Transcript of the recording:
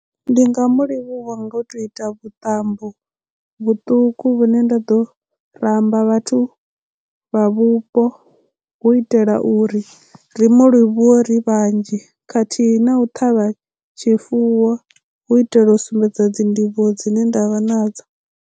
Ndi nga mu livhuwa nga u to ita vhutambo vhuṱuku vhune nda ḓo ramba vhathu vha vhupo hu itela uri ri mu livhuwe ri vhanzhi khathihi na u ṱhavha tshifuwo hu itela u sumbedza dzi ndivhuwo dzine ndavha nadzo.